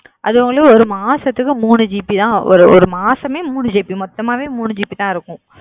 அது வந்து மூணு மாசத்துக்கு முனு ஜி பி தா வரும்